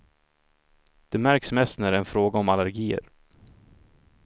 Det märks mest när det är fråga om allergier.